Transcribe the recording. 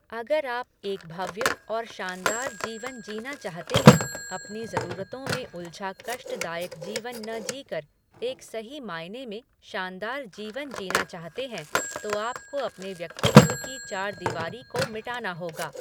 अगर आप एक भव्य और शानदार जीवन जीना चाहते हैं, अपनी जरूरतों में उलझा कष्टदायक जीवन न जीकर एक सही मायने में शानदार जीवन जीना चाहते हैं, तो आपको अपने व्यक्तित्व की चारदीवारी को मिटाना होगा।